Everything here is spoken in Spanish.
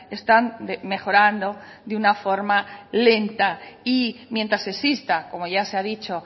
están mejorando de una forma lenta y mientras exista como ya se ha dicho